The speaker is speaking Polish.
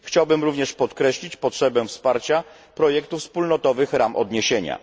Chciałbym również podkreślić potrzebę wsparcia projektu wspólnotowych ram odniesienia.